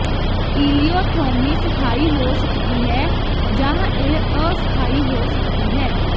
ileostomy ਸਥਾਈ ਹੋ ਸਕਦੀ ਹੈ ਜਾਂ ਇਹ ਅਸਥਾਈ ਹੋ ਸਕਦੀ ਹੈ